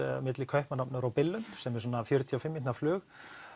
milli Kaupmannahafnar og Billund sem er svona fjörutíu og fimm mínútna flug